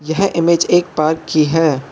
यह इमेज एक पार्क की है।